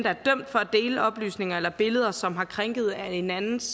er dømt for at dele oplysninger eller billeder som har krænket en andens